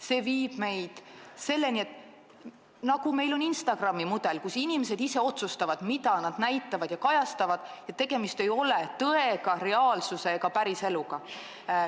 See viiks sellise asjani, nagu on Instagram, kus inimesed ise otsustavad, mida nad näitavad ja kajastavad, tegemist ei ole tõe, reaalsuse ega päriseluga.